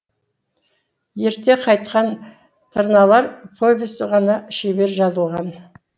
ерте қайтқан тырналар повесі ғана шебер жазылған